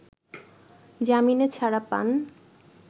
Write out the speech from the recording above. জামিনে ছাড়া পান